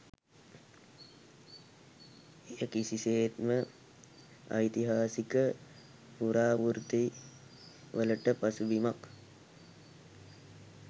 එය කිසිසේත්ම ඓතිහාසික පුරාවෘත්ති වලට පසුබිමක්